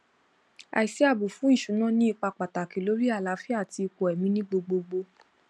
àìsíààbò fún ìṣúná ní ipa pàtàkì lórí àlàáfíà àti ipò ẹmí ni gbogbogbò